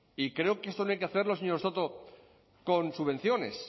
y creo que esto no hay que hacerlo señor soto con subvenciones